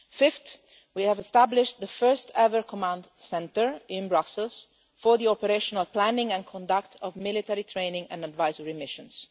year. Fifth, we have established the first ever command centre in Brussels for the operational planning and conduct of military training and advisory missions.